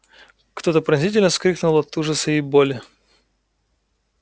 кто то пронзительно вскрикнул от ужаса и боли